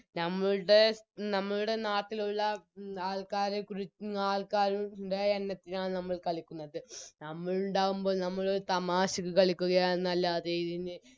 ഞമ്മളുടെ നമ്മളുടെ നാട്ടിലുള്ള ആൾക്കാരെക്കുറിച്ച് ആൾക്കാരുടെ എണ്ണത്തിനാണ് നമ്മൾ കളിക്കുന്നത് നമ്മളുണ്ടാവുമ്പോൾ നമ്മളൊരു തമാശക്ക് കളിക്കുകയാണെന്നല്ലാതെ ഇതിന്